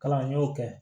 Kalan y'o kɛ